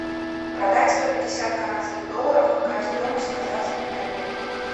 продать сто пятьдесят канадских долларов какая стоимость в казахских тенге